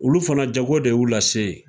Olu fana jago de y'u lase yen.